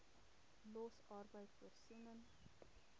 los arbeid voorsiening